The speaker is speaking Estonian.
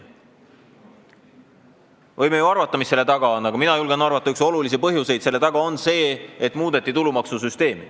Me võime ju arvata, mis selle taga on, aga mina julgen arvata, et üks olulisi põhjuseid selle taga on see, et muudeti tulumaksusüsteemi.